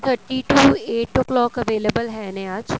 thirty to eight o clock available ਹੈ ਨੇ ਅੱਜ